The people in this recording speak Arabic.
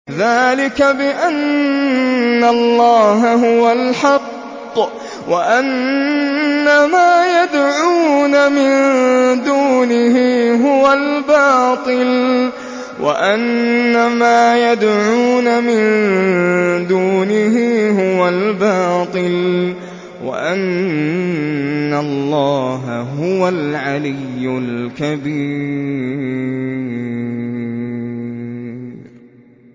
ذَٰلِكَ بِأَنَّ اللَّهَ هُوَ الْحَقُّ وَأَنَّ مَا يَدْعُونَ مِن دُونِهِ هُوَ الْبَاطِلُ وَأَنَّ اللَّهَ هُوَ الْعَلِيُّ الْكَبِيرُ